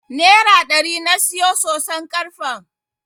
Nera ɗari na siyo soson karfen.